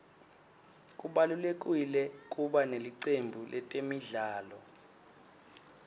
kubalulekile kuba nelicembu letemidlalo